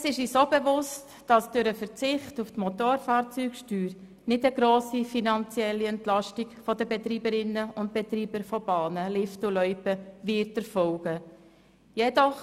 Uns ist auch bewusst, dass durch den Verzicht der Motorfahrzeugsteuer keine grosse finanzielle Entlastung für die Betreiberinnen und Betreiber von Bahnen, Liften und Loipen erfolgen wird.